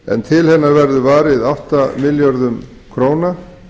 en til hennar verður varið átta milljörðum króna